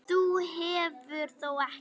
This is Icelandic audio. Þú hefur þó ekki.